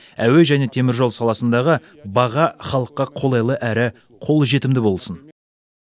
әуе және темір жол саласындағы баға халыққа қолайлы әрі қолжетімді болсын